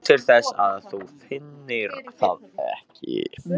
Nú, til þess að þú finnir það ekki.